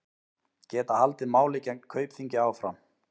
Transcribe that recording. Geta haldið máli gegn Kaupþingi áfram